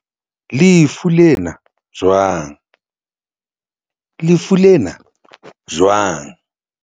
lefu lena jwang? lefu lena jwang?